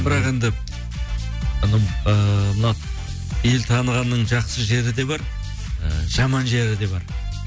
бірақ енді ыыы мына ел танығанның жақсы жері де бар і жаман жері де бар